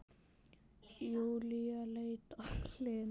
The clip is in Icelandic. Júlía leit á Lenu.